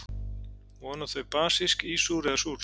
Voru þau basísk, ísúr eða súr?